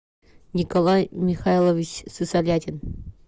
николай михайлович сысолятин